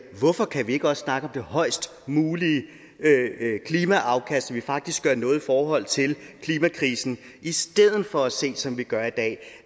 hvorfor kan vi ikke også snakke det højest mulige klimaafkast så vi faktisk gør noget i forhold til klimakrisen i stedet for at se som vi gør i dag